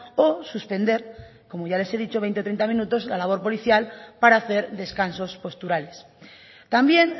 o suspender como ya les he dicho veinte treinta minutos la labor policial para hacer descansos posturales también